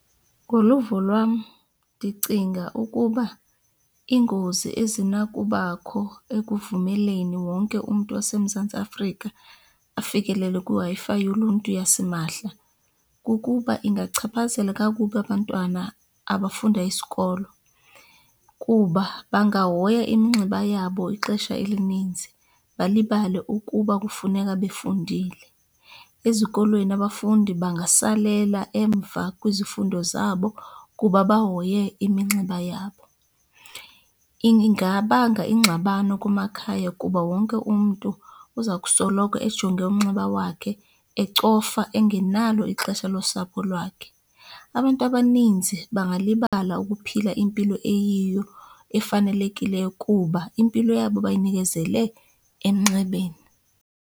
Ngoluvo lwam ndicinga ukuba iingozi ezinakubakho ekuvumeleni wonke umntu waseMzantsi Afrika afikelele kwiWi-Fi yoluntu yasimahla kukuba ingachaphazela kakubi abantwana abafunda isikolo, kuba bangahoya iminxeba yabo ixesha elininzi balibale ukuba kufuneka befundile. Ezikolweni abafundi bangasalela emva kwizifundo zabo kuba bahoye iminxeba yabo. Ingabanga ingxabano kumakhaya kuba wonke umntu uza kusoloko ejonge umnxeba wakhe, ecofa, engenalo ixesha losapho lwakhe. Abantu abaninzi bangalibala ukuphila impilo eyiyo efanelekileyo kuba impilo yabo bayinikezele emnxebeni.